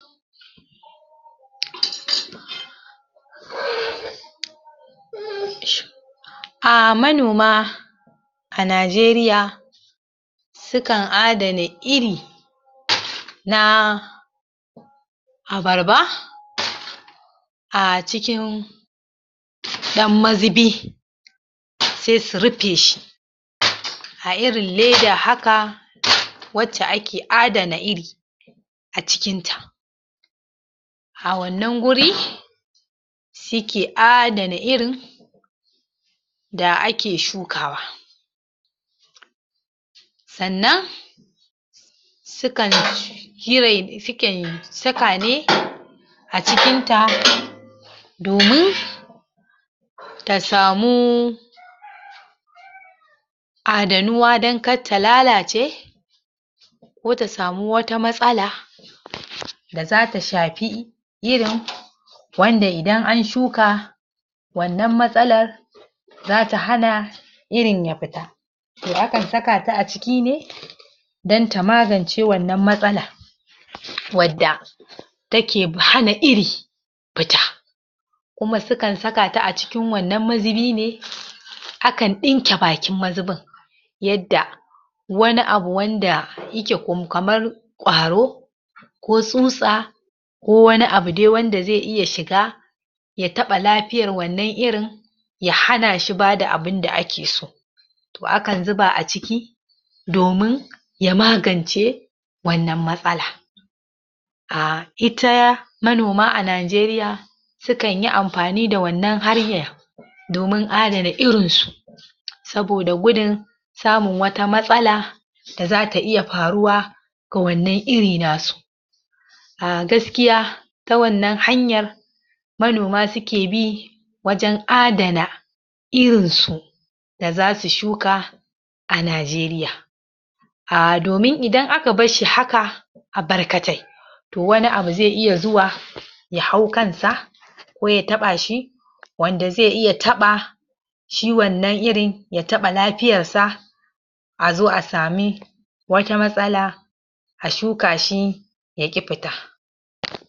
????????? Ah, manoma, a Najeriya sukan adana iri na abarba a cikin ɗan mazubi se su rufe shi a irin leda haka wacce ake adana iri a cikin ta a wannan guri su ke adana irin da ake shukawa sannan su kan cire su kan saka ne a cikin ta domin ta samu adanuwa dan kar ta lalace ko ta samu wata matsala??? da za ta shafi irin wanda idan an shuka wannan matsalar zata hana irin ya fita akan saka ta a ciki ne dan ta magance wannan matsala wadda take fa hana iri fita kuma sukan saka ta a cikin wannan mazubi ne??? akan ɗinke bakin mazubin yadda wani abu wanda yake kamar ƙwaro, ko tsutsa, ko wani abu dai wanda zai iya shiga ya taɓa lafiyar wannan irin ya hana shi bada abinda ake so to akan zuba a ciki domin ya magance wannan matsala ah, ita manoma a Najeriya sukan yi amfani da wannan hanyar domin adana irin su saboda gudun samun wata matsala da zata iya faruwa ko wannan iri na su ah, gaskiya ta wannan hanyar manoma suke bi wajen adana irin su da zasu shuka a Najeriya ah, domin idan aka bashshi haka a barkatai to wani abu ze iya zuwa ya hau kan sa ko ya taɓa shi wanda ze iya taɓa shi wannan irin ya taɓa lafiyar sa a zo a sami wata matsala a shuka shi ya ƙi fita